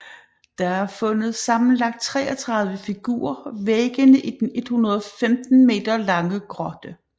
Der er fundet sammenlagt 33 figurer væggene i den 115 meter lange grotte